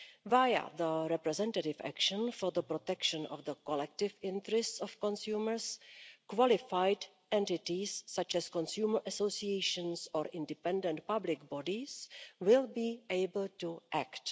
Via the representative actions for the protection of the collective interest of consumers, qualified entities, such as consumer associations or independent public bodies, will be able to act.